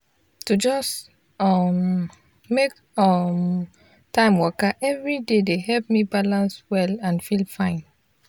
to just um make um time waka every day dey help me balance well and feel fine.